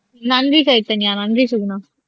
நன்றி சைதன்யா நன்றி சுகுணா